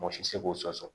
Mɔgɔ si tɛ se k'o sɔsɔ